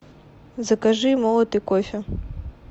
закажи молотый кофе